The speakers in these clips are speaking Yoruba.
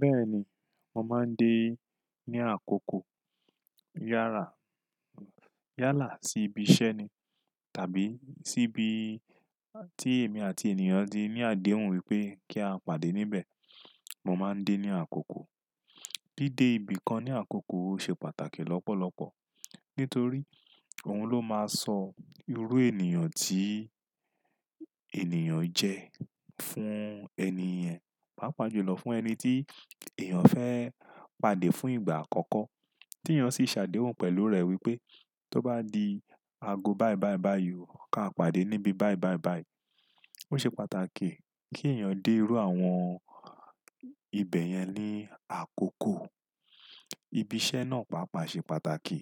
Bẹ́ẹ̀ni, mo máa ń dé ní àkókò yára, yálà sí ibi iṣẹ́ ni tàbí sí ibi tí èmi àti ènìyàn ti ní àdéhùn wípé kí a pàdé níbẹ̀. Mo máa ń dé ní àkókò. Dídé ibi kan ní àkókò ṣe pàtàkì lọ́pọ̀lọpọ̀ nítorí òun ló máa sọ irú ènìyàn tí ènìyàn jẹ fún ẹni yẹn, pàápàá jùlọ fún ẹni tí èèyàn fẹ́ pàdé fún ìgbà àkọ́kọ́ tí èèyàn sì ṣàdéhùn pẹ̀lú rẹ̀ wípé tó bá di ago báí báí báí óò ka pàdé níbi báí báí báí. Ó ṣe pàtàkì kí èèyàn dé rú àwọn ibẹ̀ yẹn ní àkókò. Ibi iṣẹ́ náà pàápàá ṣe pàtàkì.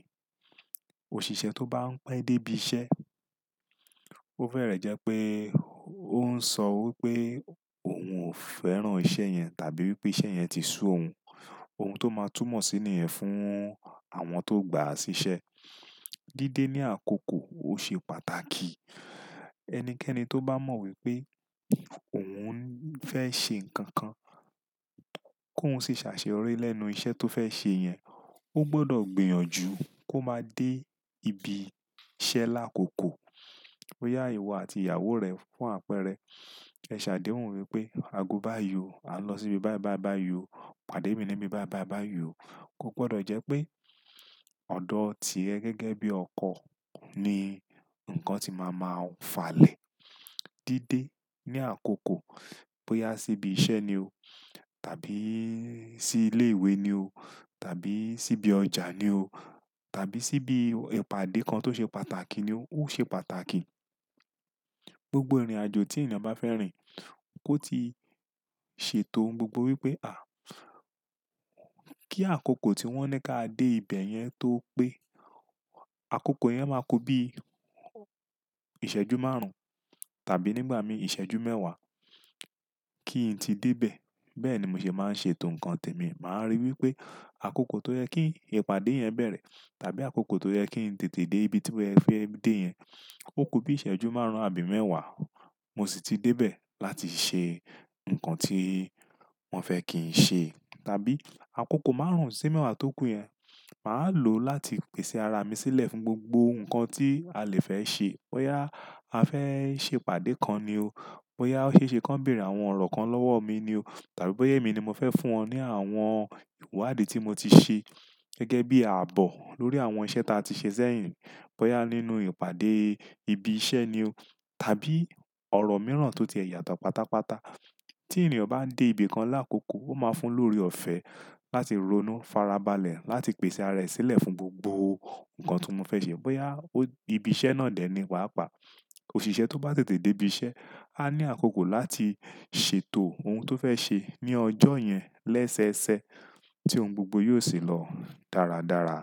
Òṣìṣẹ́ tó bá ń pẹ́ dé ibi iṣẹ́, ó fẹ́rẹ̀ jẹ pé ó ń sọ wípé òun ò fẹ́ràn iṣẹ́ yẹn tàbí wípé iṣẹ́ yẹn ti sú òun. Ohun tó máa túmọ̀ síni yẹn fún àwọn tó gbà á sí iṣẹ́. Dídé ní àkókò ó ṣe pàtàkì. Ẹnikẹ́ni tó bá mọ̀ wípé òun ń fẹ́ ṣe ǹkan kan kó ń sì ṣàṣẹ́ yorí lẹ́nu iṣẹ́ tó fẹ́ ṣe yẹn, ó gbọdọ̀ gbìyànjú kó máa dé ibi iṣẹ́ lákòókò. Bóyá ìwọ àti ìyàwó rẹ fún àpẹẹrẹ ṣe àdéhùn wípé ago báí yóò a lọ sí ibi báí báí báí óò, pàdé mi ní ibi báí báí báí óò, ó gbọdọ̀ jẹ́ pé ọ̀dọ̀ tí ẹ gẹ́gẹ́ bí ọkọ ni ǹkan tí màá máa falẹ̀. Dídé ní àkókò bóyá sí ibi iṣẹ́ ni o tàbí sí ilé ìwé ni o tàbí sí ibi ọjà ni o tàbí sí ibi ìpàdé kan tó ṣe pàtàkì ni o, ó ṣe pàtàkì. Gbogbo ìrìnàjò tí ènìyàn bá fẹ́ rìn kó ti ṣètò ohun gbogbo wípé à, kí àkókò tí wọ́n ní kí a dé ibẹ̀ yẹn tó pé. Àkókò yẹn máa kó bí ìṣẹ́jú márùn-ún tàbí nígbà mí ìṣẹ́jú mẹ́wàá kí n tí dé bẹ̀. Bẹ́ẹ̀ ni mo ṣe máa ń ṣètò ǹkan tẹ̀mi. Màá rí wípé àkókò tó yẹ kí ìpàdé yẹn bẹ̀rẹ̀ tàbí àkókò tó yẹ kí n tètè dé ibi tí wọ́n fẹ́ dé yẹn ó ku bí ìṣẹ́jú márùn-ún àbí mẹ́wàá mo sì ti dé bẹ̀ láti ṣe ǹkan tí wọ́n fẹ́ kí n ṣe tàbí àkókò márùn-ún sí mẹ́wàá tó kù yẹn màá lò láti pèsè ara mi sílẹ̀ fún gbogbo ǹkan tí a lè fẹ́ ṣe. Bóyá a fẹ́ ṣe ìpàdé kan ni o, bóyá ó ṣe é ṣe kí wọ́n bèèrè àwọn ọ̀rọ̀ kan lọ́wọ́ mi ni o tàbí bóyá èmi ni mo fẹ́ fún wọn ní àwọn ìwádìí tí mo ti ṣe gẹ́gẹ́ bí ààbò lórí àwọn iṣẹ́ tí a ti ṣe sẹ́yìn. Bóyá nínú ìpàdé ibi iṣẹ́ ni o tàbí ọ̀rọ̀ mìíràn tó ti è yàtọ̀ pátápátá. Tí ènìyàn bá ń dé ibi kan lákòókò ó máa fún lórí ọ̀fẹ́ láti ronú farabalẹ̀ láti pèsè ara rẹ̀ sílẹ̀ fún gbogbo ǹkan tí wọ́n fẹ́ ṣe. Bóyá ó ibi iṣẹ́ náà dẹ̀ ni pàápàá. Òṣìṣẹ́ tó bá tètè dé ibi iṣẹ́ á ní àkókò láti ṣètò ohun tó fẹ́ ṣe ní ọjọ́ yẹn lẹ́sẹẹsẹ tí ohun gbogbo yóò sì lọ dáradára.